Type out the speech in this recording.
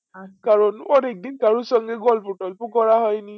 কারণ অনিকদিন কারো সঙ্গে গল্প টোলপ করা হয়নি।